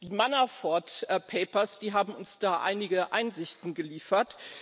Die Manafort Papers haben uns da einige Einsichten geliefert.